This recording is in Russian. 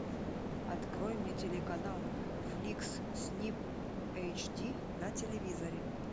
открой мне телеканал фликс снип эйч ди на телевизоре